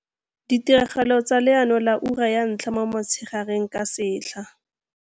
Ditiragalo tsa leano la IPM ka setlha.